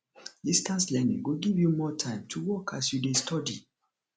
distance learning go give you more time to work as you dey study